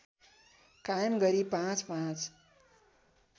कायम गरी पाँचपाँच